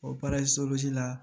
O la